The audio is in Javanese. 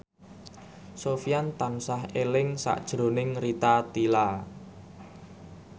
Sofyan tansah eling sakjroning Rita Tila